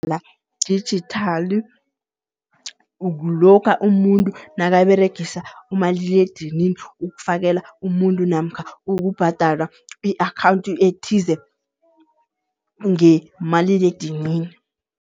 dijithali kulokha umuntu nakaberegisa umaliledinini ukufakela umuntu namkha ukubhadala i-akhawunthi ethize ngemaliledinini.